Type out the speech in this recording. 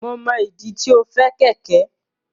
Mo mọ ìdí tí o fẹ kẹkẹ.